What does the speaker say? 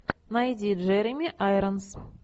найди джереми айронс